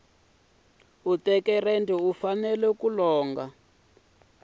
u teka rendzo u fanele